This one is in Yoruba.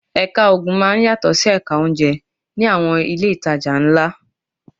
Ẹ̀ka Oògùn máa ń yàtọ̀ sí Ẹ̀ka oúnjẹ ní àwọn ilé ìtajà ńlá